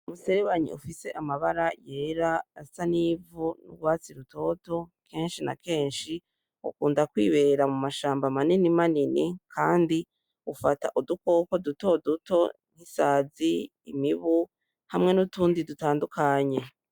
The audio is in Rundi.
Umuserebanyi ufise amabara yera, asa n'ivu n'urwatsi rutoto. Kenshi na kenshi ukunda kwibera mu mashamba manini manini kandi ufata udukoko duto duto nk'isazi, imibu hamwe n'utundi dutandukanye.